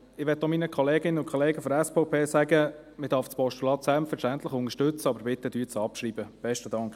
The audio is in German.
Ich möchte meinen Kolleginnen und Kollegen der SVP sagen, dass man das Postulat selbstverständlich unterstützen darf, aber bitte schreiben Sie es ab.